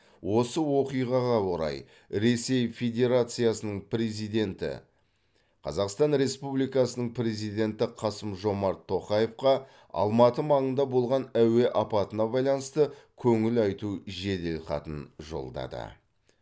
осы оқиғаға орай ресей федерациясының президенті қазақстан республикасының президенті қасым жомарт тоқаевқа алматы маңында болған әуе апатына байланысты көңіл айту жеделхатын жолдады